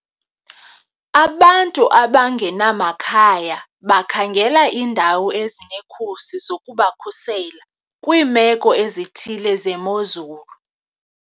Abantu abangenamakhaya bakhangela iindawo ezinekhusi zokubakhusela kwiimeko ezithile zemozulu.